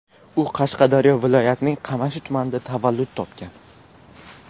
U Qashqadaryo viloyatining Qamashi tumanida tavallud topgan.